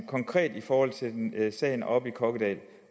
konkret i forhold til sagen oppe i kokkedal